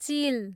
चिल